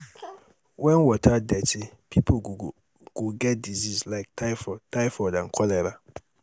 when water dirty people go get disease like typhoid typhoid and cholera